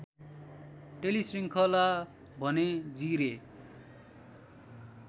टेलिश्रिङ्खला भने जिरे